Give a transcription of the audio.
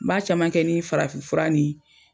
N ba caman kɛ ni farafin fura ni.